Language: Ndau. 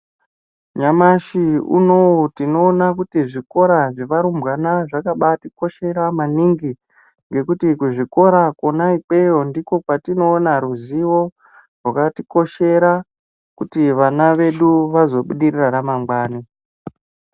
Nyamashi unowu tinoona kuti zvikora zvevarumbwana zvakabatikoshera maningi ngekuti kuzvikora kwona ikweyo ndiko kwatinoona ruzivo rwakatikoshera kuti vana vedu vazobudirira ramangwani.